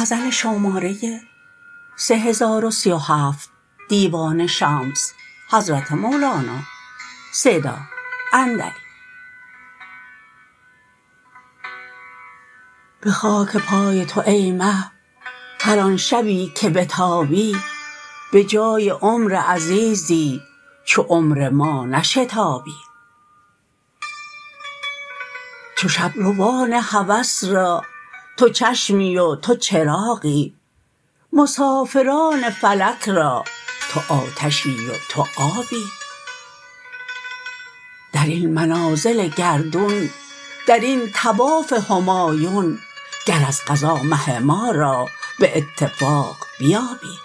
به خاک پای تو ای مه هر آن شبی که بتابی به جای عمر عزیزی چو عمر ما نشتابی چو شب روان هوس را تو چشمی و تو چراغی مسافران فلک را تو آتشی و تو آبی در این منازل گردون در این طواف همایون گر از قضا مه ما را به اتفاق بیابی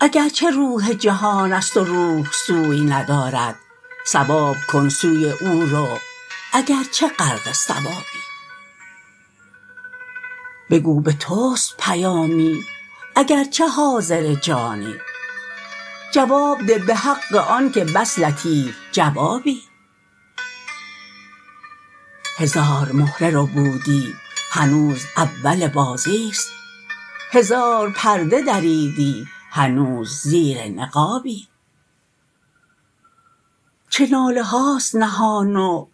اگر چه روح جهانست و روح سوی ندارد ثواب کن سوی او رو اگر چه غرق ثوابی بگو به تست پیامی اگر چه حاضر جانی جواب ده به حق آنک بس لطیف جوابی هزار مهره ربودی هنوز اول بازیست هزار پرده دریدی هنوز زیر نقابی چه ناله هاست نهان و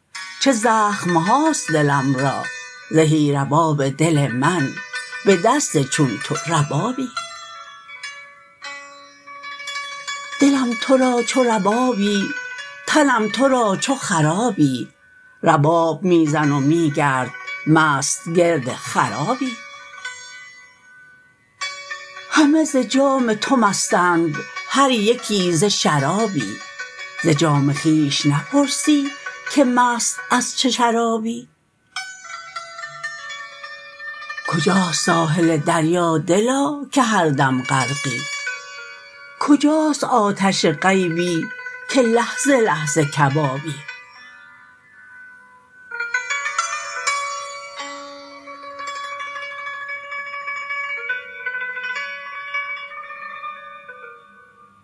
چه زخم هاست دلم را زهی رباب دل من به دست چون تو ربابی دلم تو را چو ربابی تنم تو را چو خرابی رباب می زن و می گرد مست گرد خرابی همه ز جام تو مستند هر یکی ز شرابی ز جام خویش نپرسی که مست از چه شرابی کجاست ساحل دریا دلا که هر دم غرقی کجاست آتش غیبی که لحظه لحظه کبابی